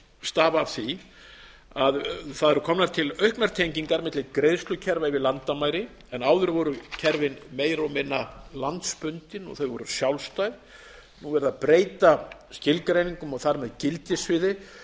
stafa af því að það eru komnar til auknar tengingar milli greiðslukerfa við landamæri en áður voru kerfin meira og minna landsbundin og þau voru sjálfstæð nú er verið að breyta skilgreiningum og þar með gildissviði